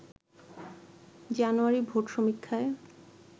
জানুয়ারির ভোট সমীক্ষায়